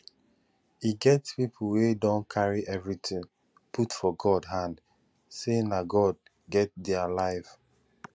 e get pipo wey don carry everything put for god hand sey na god get their life